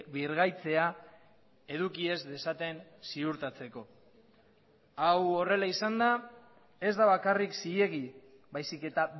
birgaitzea eduki ez dezaten ziurtatzeko hau horrela izanda ez da bakarrik zilegi baizik eta